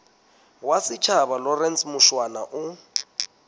wa setjhaba lawrence mushwana o